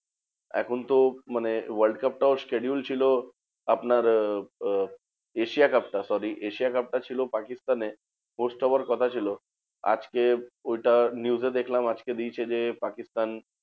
এখন তো মানে world cup টাও schedule ছিল আপনার আহ আহ asia cup টা sorry asia cup টা ছিল পাকিস্তানে post হওয়ার কথা ছিল। আজকে ওটা news এ দেখলাম আজকে দিয়েছে যে পাকিস্তান